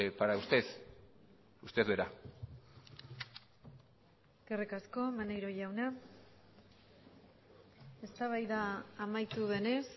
para usted usted verá eskerrik asko maneiro jauna eztabaida amaitu denez